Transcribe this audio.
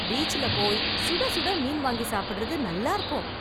பீச்ல போய் சுட சுட மீன் வாங்கி சாப்பிடுவது நல்லா இருக்கும்.